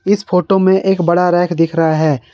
इस फोटो में एक बड़ा रैक दिख रहा है।